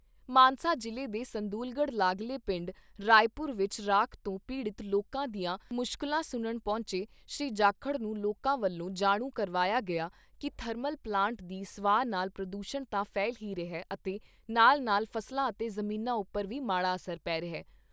ਮਾਨਸਾ ਜਿਲ੍ਹੇ ਦੇ ਸੰਦੂਲਗੜ੍ਹ ਲਾਗਲੇ ਪਿੰਡ ਰਾਏਪੁਰ ਵਿਚ ਰਾਖ ਤੋਂ ਪੀੜਤ ਲੋਕਾਂ ਦੀਆਂ ਮੁਸ਼ਕਿਲਾਂ ਸੁਣਨ ਪਹੁੰਚੇ ਸ਼੍ਰੀ ਜਾਖੜ ਨੂੰ ਲੋਕਾਂ ਵਲੋਂ ਜਾਣੂ ਕਰਵਾਇਆ ਗਿਆ ਕਿ ਥਰਮਲ ਪਲਾਂਟ ਦੀ ਸਵਾਹ ਨਾਲ਼ ਪ੍ਰਦੂਸ਼ਣ ਤਾਂ ਫੈਲ ਹੀ ਰਿਹਾ ਅਤੇ ਨਾਲ ਨਾਲ ਫ਼ਸਲਾਂ ਅਤੇ ਜਮੀਨਾਂ ਉੱਪਰ ਵੀ ਮਾੜਾ ਅਸਰ ਪੈ ਰਿਹਾ।